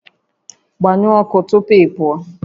Gbanyụọ ọkụ tupu ị pụọ